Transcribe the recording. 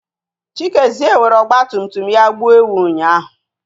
Chikezie were ọgbatumtum ya gbuo ewu ụnyahụ.